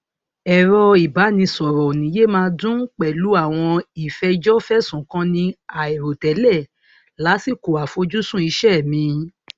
ẹrọ ìbánisọrọ ò ní yé máa dún pẹlú àwọn ìfẹjọfẹsùnkanni àìrò tẹlẹ lásìkò àfojúsùn iṣẹ mi